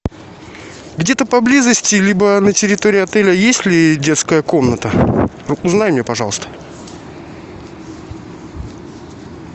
где то поблизости либо на территории отеля есть ли детская комната узнай мне пожалуйста